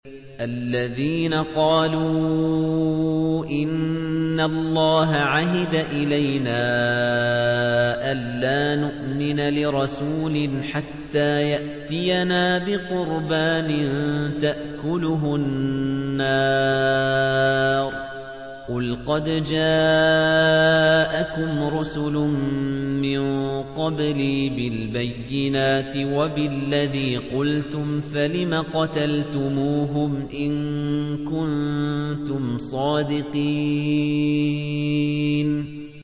الَّذِينَ قَالُوا إِنَّ اللَّهَ عَهِدَ إِلَيْنَا أَلَّا نُؤْمِنَ لِرَسُولٍ حَتَّىٰ يَأْتِيَنَا بِقُرْبَانٍ تَأْكُلُهُ النَّارُ ۗ قُلْ قَدْ جَاءَكُمْ رُسُلٌ مِّن قَبْلِي بِالْبَيِّنَاتِ وَبِالَّذِي قُلْتُمْ فَلِمَ قَتَلْتُمُوهُمْ إِن كُنتُمْ صَادِقِينَ